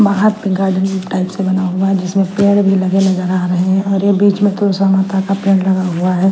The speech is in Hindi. बाहर गार्डन टाइप से बना हुआ है जिसमें पेड़ भी लगे नजर आ रहे हैं और ये बीच में तुलसी माता का पेड़ लगा हुआ है।